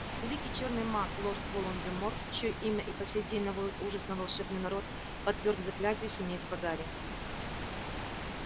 великий чёрный маг лорд волан-де-морт чьё имя и по сей день наводит ужас на волшебный народ подвёрг заклятию семейство гарри